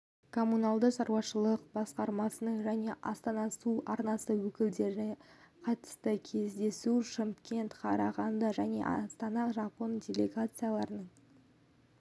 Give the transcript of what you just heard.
коммуналдық шаруашылық басқармасының және астана су арнасы өкілдері қатысты кездесушымкент қарағанды мен астанаға жапон делегацияларының